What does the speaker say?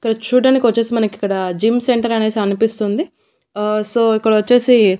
ఇక్కడ చూడ్డానికొచ్చేసి మనకిక్కడ జిమ్ సెంటర్ అనేసి అనిపిస్తుంది ఆ సో ఇక్కడ వచ్చేసి--